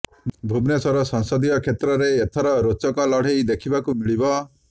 ଭୁବନେଶ୍ବର ସଂସଦୀୟ କ୍ଷେତ୍ରରେ ଏଥର ରୋଚକ ଲଢେଇ ଦେଖିବାକୁ ମିଳିବ